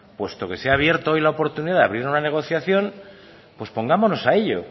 puesto que se ha abierto hoy la oportunidad de abrir una negociación pues pongámonos a ello